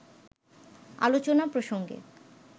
আলোচনা প্রসঙ্গে